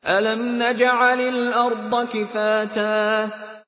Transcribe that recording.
أَلَمْ نَجْعَلِ الْأَرْضَ كِفَاتًا